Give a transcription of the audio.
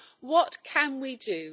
What can we do?